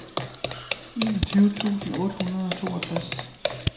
enogtyve tusind otte hundrede og toogtres